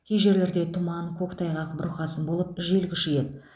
кей жерлерде тұман көктайғақ бұрқасын болып жел күшейеді